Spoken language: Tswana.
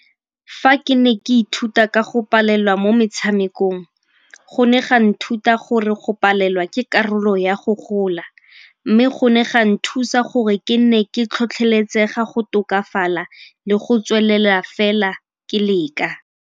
Fa ke ne ke ithuta ka go palelwa mo metshamekong go ne ga nthuta gore go palelwa ke karolo ya go gola mme go ne ga nthusa gore ke nne ke tlhotlheletsega go tokafala le go tswelela fela ke leka.